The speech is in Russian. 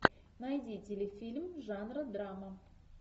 найди телефильм жанра драма